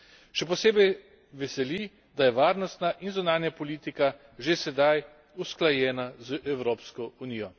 Še posebej me veseli, da je varnostna in zunanja politika že sedaj usklajena z Evropsko unijo.